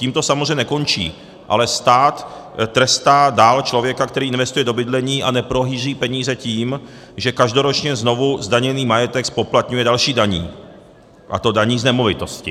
Tím to samozřejmě nekončí, ale stát trestá dál člověka, který investuje do bydlení a neprohýří peníze, tím, že každoročně znovu zdaněný majetek zpoplatňuje další daní, a to daní z nemovitosti.